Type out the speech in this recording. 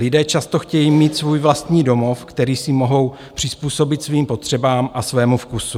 Lidé často chtějí mít svůj vlastní domov, který si mohou přizpůsobit svým potřebám a svému vkusu.